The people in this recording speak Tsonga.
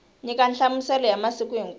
nyika nhlamuselo ya masiku hinkwawo